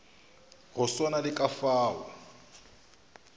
go swana le ka fao